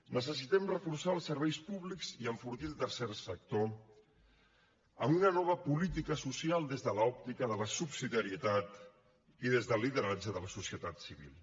necessitem reforçar els serveis públics i enfortir el tercer sector amb una nova política social des de l’òptica de la subsidiarietat i des del lideratge de la societat civil